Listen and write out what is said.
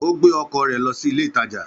Ó gbé ọkọ̀ rẹ̀ lọ sí ilé ìtajà.